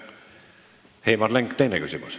Heimar Lenk, teine küsimus.